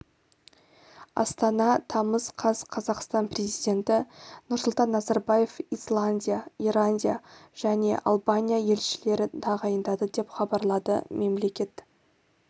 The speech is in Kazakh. астана тамыз қаз қазақстан президенті нұрсұлтан назарбаев исландия ирандия және албания елшілерін таағйындады деп хабарлады мемлекет